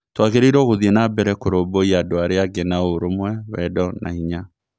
Tũagĩrĩirwo gũthiĩ nambere kũrũmbũiya andũ arĩa angĩ na ũrũmwe, wendo na hinya.